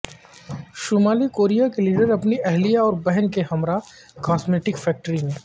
شمالی کوریا کے لیڈراپنی اہلیہ اور بہن کے ہمراہ کاسمیٹک فیکٹری میں